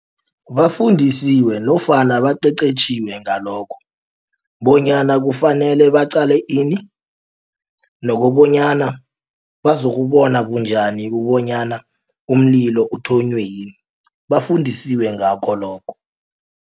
Bafundisiwe nofana baqeqeshiwe ngalokho bonyana kufanele baqale ini. Nokobanyana bazokubona bunjani kobonyana umlilo uthonywe yini bafundisiwe ngakho lokho.